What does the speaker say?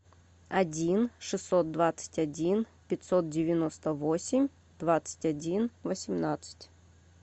один шестьсот двадцать один пятьсот девяносто восемь двадцать один восемнадцать